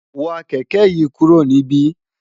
wa kẹ̀kẹ́ yìí kúrò níbí!